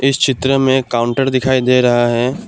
चित्र में काउंटर दिखाई दे रहा है।